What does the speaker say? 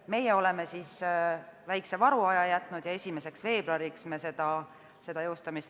Meie oleme jätnud väikese varuaja ja planeerime jõustamist 1. veebruarist.